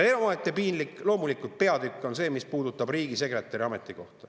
Omaette piinlik peatükk on loomulikult see, mis puudutab riigisekretäri ametikohta.